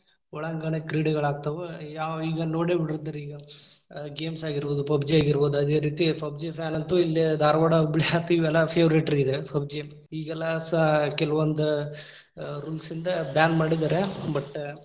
ಒಳಾಂಗಣ ಕ್ರೀಡೆಗಳಾಗ್ತಾವ. ಯಾವ್‌ ಈಗಾ ನೋಡೇಬಿಟ್ಟಿರ್ತಾರ ಈಗ games ಆಗಿರಬೋದು PUBG ಆಗಿರಬೋದು, ಅದೇ ರೀತಿ PUBG fan ಅಂತೂ ಇಲ್ಲೇ ಧಾರವಾಡ ಹುಬ್ಬಳಿ ಆತ ಇವೆಲ್ಲಾ ‌favorate ರೀ ಇದ್ PUBG ಇಗೆಲ್ಲಾ ಸಾ ಕೆಲವೊಂದ್‌ ಅ rules ಯಿಂದ ban ಮಾಡಿದಾರ, but.